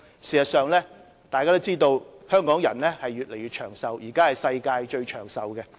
事實上，眾所周知，香港人越來越長壽，是現時世界上最長壽的地方。